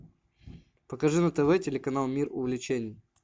покажи на тв телеканал мир увлечений